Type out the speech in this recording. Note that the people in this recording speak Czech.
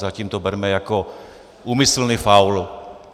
Zatím to berme jako úmyslný faul.